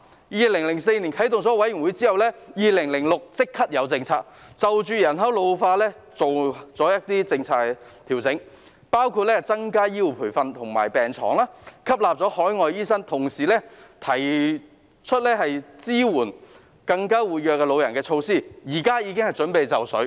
在2004年設立委員會後，在2006年便立即提出新政策，就着人口老化調整一些政策，包括增加醫護培訓及病床數目、吸納海外醫生，同時提出支援活躍老人的措施，現時已經準備就緒了。